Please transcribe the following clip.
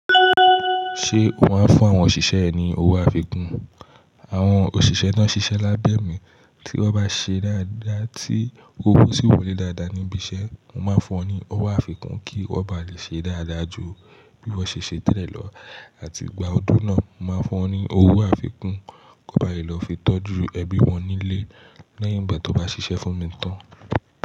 Ṣé o máa fún àwọn òṣìṣẹ́ ẹ ní owó àfikún? Àwọn òṣìṣẹ́ tàn ṣiṣẹ́ lábẹ́ mi tí wọ́n bá ṣe dáadáa tí owó sì wole dáadáa níbi iṣẹ́, mo máa fún wọn ní owó àfikún kí wọ́n bá lè ṣe dáadáa jù bí wọ́n ṣe ṣe tẹ́lẹ̀ lọ àti gba ọdún náà, mo máa fún wọn ní owó àfikún ko n bá lè lọ fi tọ́jú ẹbí wọn nílé lẹ́yìn ìgbà to bá ṣiṣẹ́ fún mi tán.